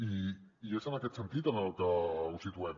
i és en aquest sentit en el que ho situem